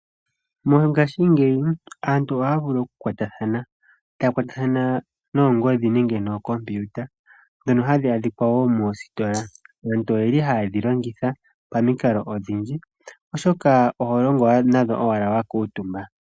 Mongashingeyi aantu ohaya vulu oku kwatathana, taya kwatathana noongodhi nenge nookompiuta ndhono hadhi adhika wo moositola. Aantu oyeli haye dhilongitha pamikalo odhindji, oshoka oholongo nadho owala wa kuutumba.